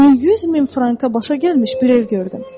100 min franka başa gəlmiş bir ev gördüm.